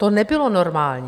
To nebylo normální.